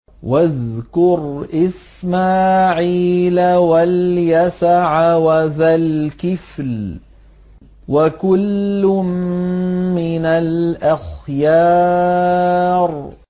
وَاذْكُرْ إِسْمَاعِيلَ وَالْيَسَعَ وَذَا الْكِفْلِ ۖ وَكُلٌّ مِّنَ الْأَخْيَارِ